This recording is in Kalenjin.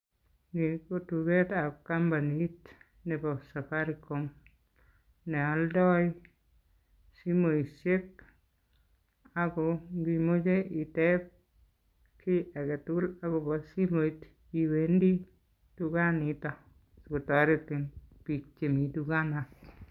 Yeu ko tugetab kampanit nebo Safaricom, neoldoi simosiek ago ndimoche iteb kiy agetugul agobo simoit iwendi tuganiton sikotoretin biik chemi tukaniton.